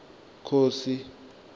khosi